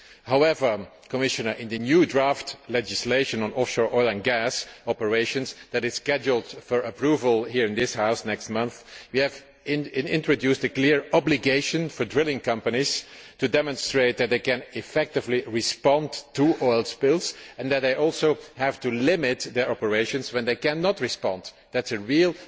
However, Commissioner, in the new draft legislation on offshore oil and gas operations that is scheduled for approval here in this House next month, we have introduced a clear obligation for drilling companies to demonstrate that they can effectively respond to oil spills and that they also have to limit their operations when they cannot respond. That is a real